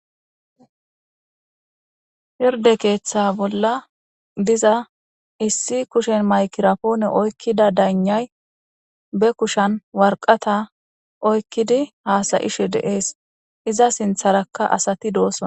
Pirdde keeththaa bolla diza issi kushen migrapoone oykkida daygnay be kushen warqatha oykkidi haasa7ishe de7es; iza sinththaarakka asathi de7oosona.